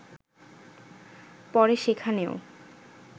পরে সেখানেও